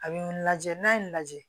A bɛ n lajɛ n'a ye n lajɛ